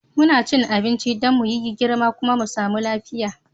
Muna cin abinci Dan muyi yi girma kuma mu samu lafiya.